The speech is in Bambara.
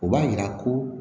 O b'a yira ko